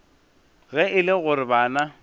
ge e le gore bana